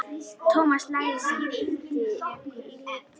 Thomas Lang skipti litum.